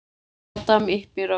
Adam yppir öxlum.